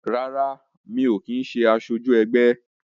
Rárá, mi ò kin ṣé asoju ẹgbẹ́